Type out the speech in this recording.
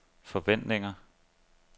forventninger